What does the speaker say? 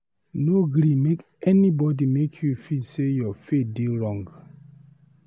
No gree make anybody make you feel sey you faith dey wrong.